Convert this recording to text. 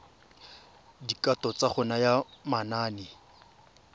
dikatso tsa go naya manane